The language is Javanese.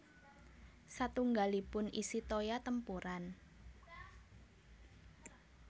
Satunggalipun isi toya tempuran